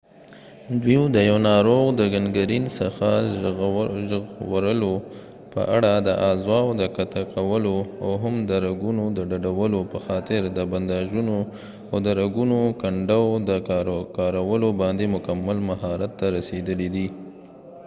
دوي د یو ناروغ د ګنګرین څخه ژغورلو په اړه د اعضاو د قطع کولو او هم د رګونو د ډډولو په خاطر د بنداژونو اود رګونو کنډو د کارولوباندي مکمل مهارت ته رسیدلی دي